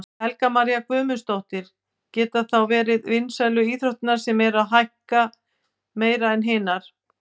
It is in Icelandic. Helga María Guðmundsdóttir: Geta þá verið vinsælu íþróttirnar sem eru að hækka meira en hinar?